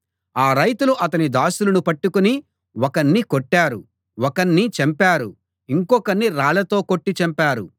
ఆ రైతులు అతని దాసులను పట్టుకుని ఒకణ్ణి కొట్టారు ఒకణ్ణి చంపారు ఇంకొకణ్ణి రాళ్ళతో కొట్టి చంపారు